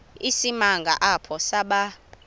isimanga apho saba